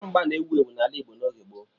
Mgba mgba na-ewu ewu n'ala Igbo n'oge gboo.